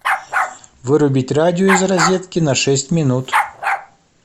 вырубить радио из розетки на шесть минут